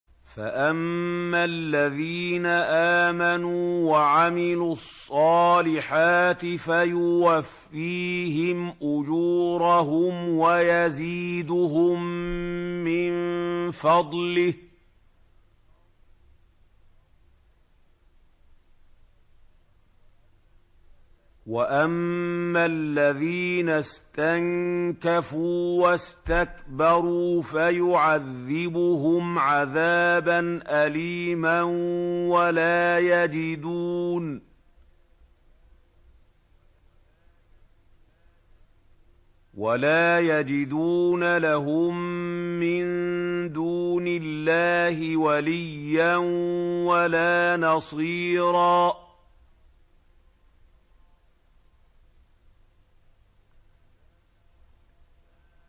فَأَمَّا الَّذِينَ آمَنُوا وَعَمِلُوا الصَّالِحَاتِ فَيُوَفِّيهِمْ أُجُورَهُمْ وَيَزِيدُهُم مِّن فَضْلِهِ ۖ وَأَمَّا الَّذِينَ اسْتَنكَفُوا وَاسْتَكْبَرُوا فَيُعَذِّبُهُمْ عَذَابًا أَلِيمًا وَلَا يَجِدُونَ لَهُم مِّن دُونِ اللَّهِ وَلِيًّا وَلَا نَصِيرًا